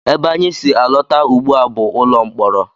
Ebe anyị si alọta ugbu a bụ ụlọ mkpọrọ